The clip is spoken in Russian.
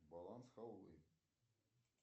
баланс халвы